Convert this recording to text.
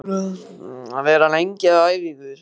Eru þið búin að vera lengi að æfa ykkur?